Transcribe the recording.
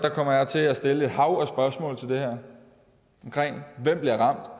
kommer jeg til at stille et hav af spørgsmål til det her hvem bliver